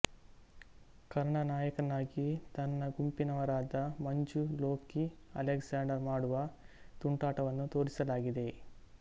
ಕರ್ಣ ನಾಯಕನಾಗಿ ತನ್ನ ಗುಂಪಿನವರಾದ ಮಂಜು ಲೋಕಿ ಅಲೆಕ್ಸಾಂಡರ್ ಮಾಡುವ ತುಂಟಾಟವನ್ನು ತೋರಿಸಲಾಗಿದೆ